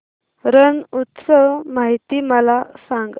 रण उत्सव माहिती मला सांग